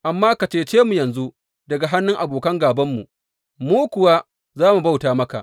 Amma ka cece mu yanzu daga hannun abokan gābanmu, mu kuwa za mu bauta maka.